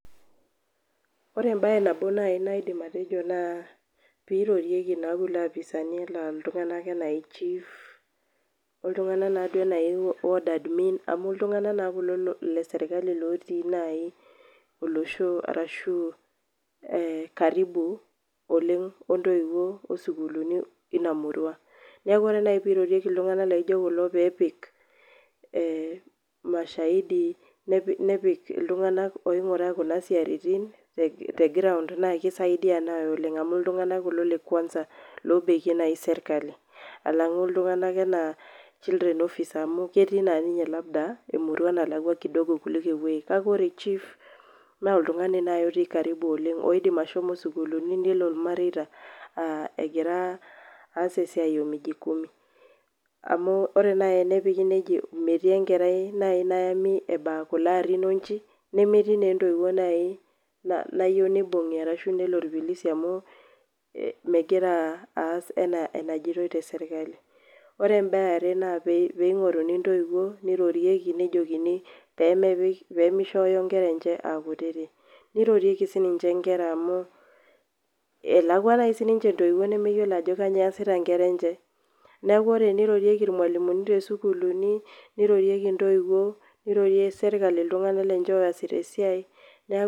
Ore embaye nabo nai naidim atejo naa piirorieki naa kulo apisaani enaa iltung'anak enaa chief oltung'anak naa duo ena odd admin amu iltung'anak naa kulo le serkali otii nai olosho arashu karibu oleng' oo ntoiwuo oo sukuulini ina murua. Neeku ore nai piirorieki iltung'anak laijo kulo peepik ee mashahidi, nepik iltung'anak oing'uraa kuna siaritin te ground naake isaidi nai oleng' amu iltung'anak kulo le kwanza loobekie nai serkali alang'u iltung'anak enaa children officer amu ketii naa ninye labda emurua nalakwa [cs\ kidogo kuliko ewuei. Kake ore chief naa oltung'ani nai otii karibu oleng' oidimi ashomo isukuulini nelo irmareita aa egira aas esia oo miji kumi amu ore nai enepiki neijo metii enkerai nai nayami eba kulo arin oo kulo inchi nemeti naa entoiwoi nai na nayeu nibung'i arashu elo irpolisi amu megira aas ena enajitoi te serkali. Ore embaye e are naa piing'oruni intoiwuo nirorieki nejokini pee mepik pee mishoyo inkera enche aa kutitik. Nirorieki sininche inkera amu elakua nai sininche intoiwuo nemeyiolo ajo kanyo easita inkera enche, neeku enirorieki irmalimu too sukuulini, nirorieki intoiwuo, nirorie serkli iltung'anak lenche ooasita esiai neeku...